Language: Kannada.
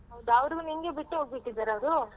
ಹೌದ ಅವ್ರು ನಿಂಗೆ ಬಿಟ್ಟು ಹೋಗ್ಬಿಟ್ಟಿದಾರ ಅವ್ರು?